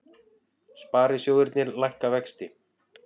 Sparisjóðirnir lækka vexti